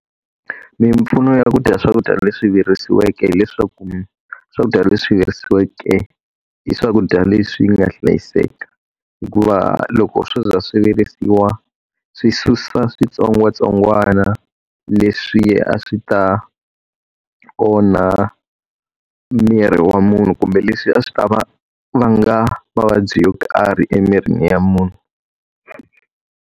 Mimpfuno ya ku dya swakudya leswi virisiweke hileswaku, swakudya leswi virisiweke i swakudya leswi nga hlayiseka. Hikuva loko swo za swi virisiwa swi susa switsongwatsongwana leswi a swi ta onha miri wa munhu kumbe leswi a swi ta vanga mavabyi yo karhi emirini wa munhu.